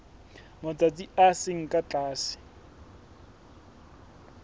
matsatsi a seng ka tlase